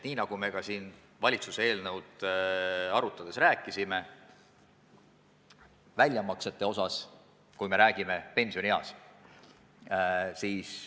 Nii nagu me siin ka valitsuse eelnõu arutades rääkisime, näiteks väljamaksete osas, kui pensioniiga on saabunud.